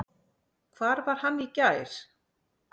Hvar var hann í gær?